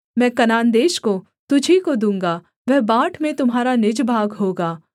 मैं कनान देश को तुझी को दूँगा वह बाँट में तुम्हारा निज भाग होगा